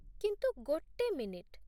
କିନ୍ତୁ ଗୋଟେ ମିନିଟ୍।